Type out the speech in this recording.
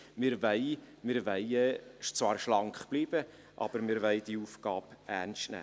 Wir wollen zwar schlank bleiben, aber wir wollen diese Aufgabe ernst nehmen.